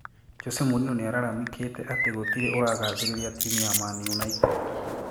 Jose Mourinho niararamikite ati gũtirĩ ũragathĩriria timu ya Man United